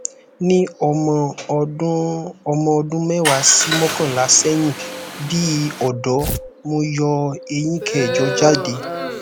ní ọmọ ọdún ọmọ ọdún mẹwàá sí mọkànlá seyin bi odo mo yo eyín kẹjọ jáde